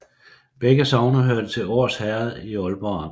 Begge sogne hørte til Års Herred i Aalborg Amt